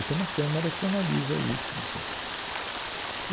E tem uma câmara que analisa isso, enfim.